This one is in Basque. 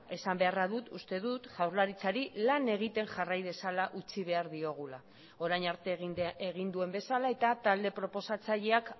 esan beharra dut uste dut jaurlaritzari lan egiten jarrai dezala utzi behar diogula orain arte egin duen bezala eta talde proposatzaileak